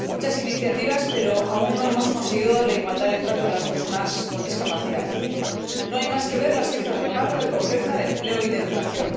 Se han desarrollado muchas iniciativas, pero aún no hemos conseguido la igualdad de trato de las personas con discapacidad. No hay más que ver las cifras de paro, de pobreza, de empleo y de educación.